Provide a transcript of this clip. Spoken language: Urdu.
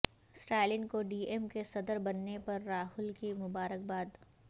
اسٹالن کو ڈی ایم کے صدر بننے پر راہل کی مبارکباد